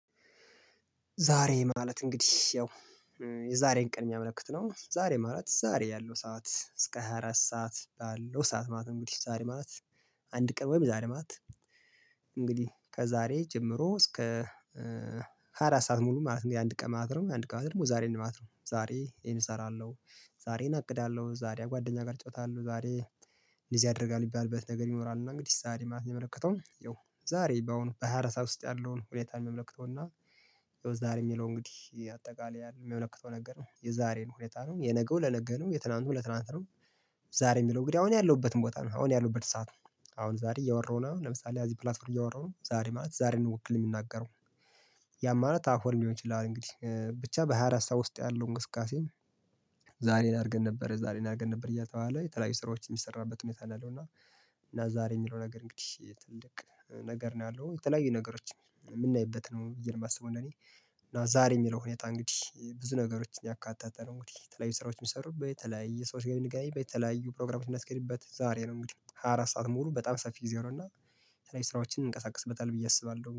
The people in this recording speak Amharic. ዛሬ ማለት እንግዲህ ያው የዛሬን ቅድሚያ መልእክት ነው። ዛሬ ማለት ዛሬ ያለው ሰዓት እስከ ሃያ አራት ሰዓት ባለው ሰዓት ማለት እንግዲህ ዛሬ ማለት አንድ ቀን ወይም ዛሬ ማት። እንግዲህ ከዛሬ ጀምሮ እስከ ሃያ አራት ሰዓት ሙሉ ማለት ነው። ያንድ ቀን ማለት ነው ያንድ ቀን ማለት ደግሞ ዛሬ ማለት ነው። ዛሬ ይሄን እሰራለሁ ዛሬን አለው ዛሬ ጓደኛ ጋር እጫወታ አለው ዛሬ። እንደዚህ ያደርጋል የሚባልበት ነገር ይኖራል። እና እንግዲህ ዛሬ ማለት የሚያመለከተው ያው ዛሬ በአሁኑ በሃያ አራት ሰዓት ውስጥ ያለውን ሁኔታን ሚያመለክተውና። ዛሬ የሚለው እንግዲህ አጠቃላይ የሚያመለክተው ነገር ነው የዛሬን ሁኔታ ነው የነገው ለነገለው የትላንቱ ለትላንት ነው። ዛሬ የሚለው እንግዲህ አሁን ያለሁበትን ቦታ ነው። አሁን ያለሁበት ሰዓት ነው። አሁን ዛሬ እያወራሁ ነው ለምሳሌ እዚህ ፕላትፎርም እያወራሁ ነው ዛሬ ማለት ዛሬ ነው ወክየ የምናገረው። ያማለት አሁን ሊሆን ይችላል ይላል እንግዲህ ብቻ በሃያ አራት ሰዓት ውስጥ ያለው እንቅስቃሴ። ዛሬን አድርገን ነበር ዛሬን አድርገን ነበር እያተባባለ የተለያዩ ስራዎችን የሚሰራበት እውነት አለው። እና እና ዛሬ የሚለው ነገር እንግዲህ ትልቅ ነገር ነው። ያለው የተለያዩ ነገሮች የምናይበት ነው ብየ ነው የማስበው። እና እኔ እና ዛሬ የሚለው ሁኔታ እንግዲህ ብዙ ነገሮችን ያካታተነው እንግዲህ ተለያዩ ስራዎችን የሚሰሩ በተለያዩ ሰዎች ጋር የሚገናኝ በተለያዩ ፕሮግራሞች የምናስኬድበት ዛሬ ነው። እንግዲህ ሃያ አራት ሰዓት ሞሩ በጣም ሰፊ ጊዜ ነው። እና የተለያዩ ስራዎችን እንቀሳቀስበታለን ብዬ አስባለሁ